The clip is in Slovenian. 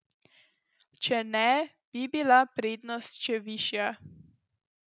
Če ne, bi bila prednost še višja.